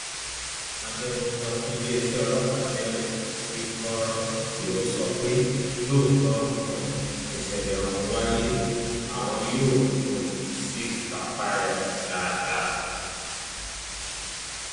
agbẹnusọ fún iléeṣẹ ọlọpàá tẹẹlẹẹ ìkorò ti sọ pé lóòótọ um nìṣẹlẹ ọhún wáyé àwọn yóò um sì kápá ẹ dáadáa